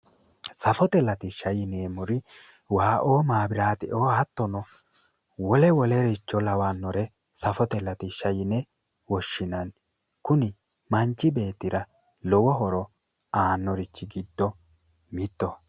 Safote latishsha yineemmori waaoo maabiraateoo hattono wole wolericho lawannore safote latishsha yine woshshinanni. Kuni manchi beettira lowo horo aannori giddo mittoho.